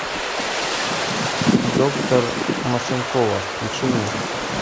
доктор машинкова включи мне